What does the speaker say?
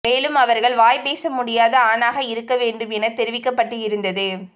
மேலும் அவர்கள் வாய் பேச முடியாத ஆணாக இருக்க வேண்டும் என தெரிவிக்கப் பட்டு இருந்தது